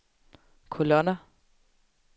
kolonner